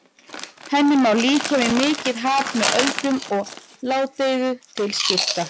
Henni má líkja við mikið haf með öldum og ládeyðu til skipta.